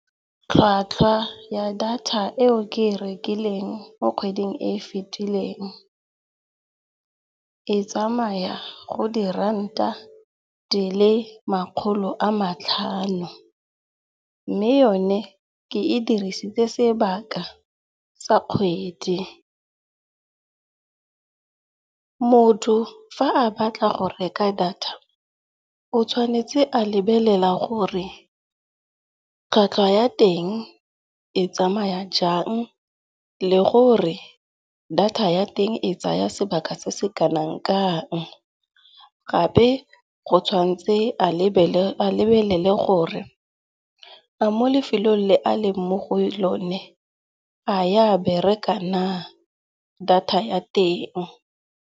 Tlhwatlhwa ya data eo ke e rekileng mo kgweding e e fetileng, e tsamaya go di ranta dile makgolo a matlhano. Mme yone ke e dirisitse sebaka sa kgwedi. Motho fa a batla go reka data o tshwanetse a lebelela gore tlhwatlhwa ya teng e tsamaya jang le gore data ya teng e tsaya sebaka se se kanang-kang. Gape go tshwanetse a lebelele gore a mo lefelong le a leng mo go lone, a e a bereka na data ya teng.